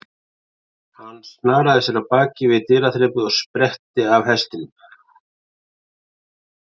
Hann snaraði sér af baki við dyraþrepið og spretti af hestinum.